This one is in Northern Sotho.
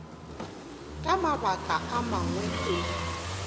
ka mabaka a mangwe o